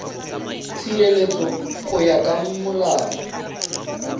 tshireletso go ya ka molao